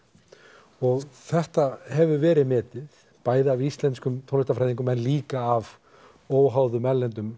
og þetta hefur verið metið bæði af íslenskum tónlistarfræðingum en líka af óháðum erlendum